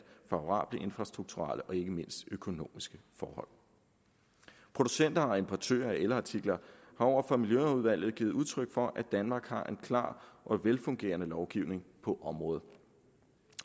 favorable infrastrukturelle og ikke mindst økonomiske forhold producenter og importører af elartikler har over for miljøudvalget givet udtryk for at danmark har en klar og velfungerende lovgivning på området